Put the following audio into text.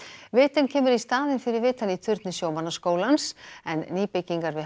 vitinn kemur í staðinn fyrir vitann í turni sjómannaskólans en nýbyggingar við